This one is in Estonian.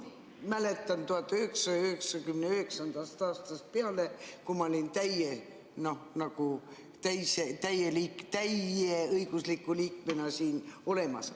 Mäletan 1999. aastast peale, kui ma olin täieõigusliku liikmena siin olemas.